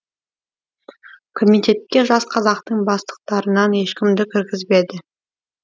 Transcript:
комитетке жас қазақтың бастықтарынан ешкімді кіргізбеді